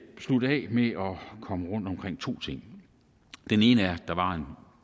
slutte af med at komme rundt omkring to ting den ene er at der